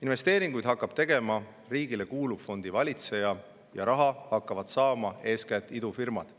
Investeeringuid hakkab tegema riigile kuuluv fondivalitseja ja raha hakkavad saama eeskätt idufirmad.